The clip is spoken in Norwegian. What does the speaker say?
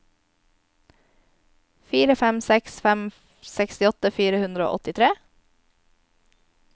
fire fem seks fem sekstiåtte fire hundre og åttitre